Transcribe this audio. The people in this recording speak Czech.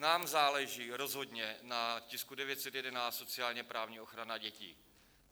Nám záleží rozhodně na tisku 911, sociálně-právní ochrana dětí.